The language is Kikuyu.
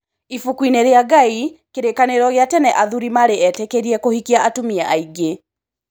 Ibuku-inĩ rĩaNgai:Kĩrĩkanĩro kĩa tene athũri marĩ etĩkĩrie kũhikia atumia aingĩ.